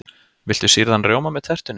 Viltu sýrðan rjóma með tertunni?